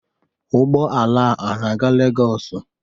Ụgbọala a na-aga Legos.